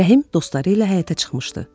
Rəhim dostları ilə həyətə çıxmışdı.